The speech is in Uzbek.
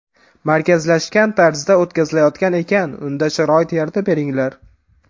Markazlashgan tarzda o‘tkazilayotgan ekan unda sharoit yaratib beringlar.